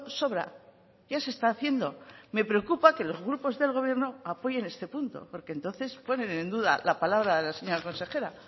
sobra ya se está haciendo me preocupa que los grupos del gobierno apoyen este punto porque entonces ponen en duda la palabra de la señora consejera